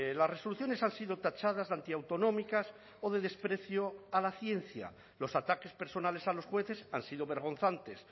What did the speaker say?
las resoluciones han sido tachadas de antiautonómicas o de desprecio a la ciencia los ataques personales a los jueces han sido vergonzantes